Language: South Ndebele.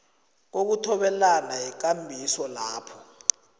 kokuthobelana yikambiso lapho